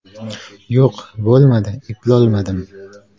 Yo‘q, bo‘lmadi, eplolmadim.